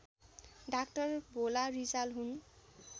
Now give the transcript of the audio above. doctor Bhola Rijal हुन्